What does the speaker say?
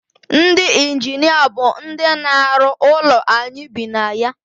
ndị injinia bụ ndị na-arụ ụlọ anyị bi na ya